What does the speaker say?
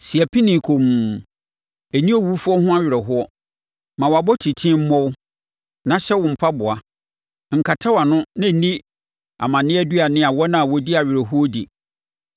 Si apinie komm; ɛnni owufoɔ ho awerɛhoɔ. Ma wʼabotiten mmɔ wo na hyɛ wo mpaboa; nkata wʼano na ɛnni amanneɛ aduane a wɔn a wɔdi awerɛhoɔ di.”